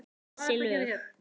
Þessi lög?